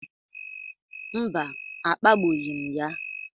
Mba, akpagbughị m ya.